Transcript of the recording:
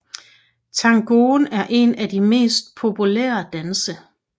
Tangoen er en af de mere populære danse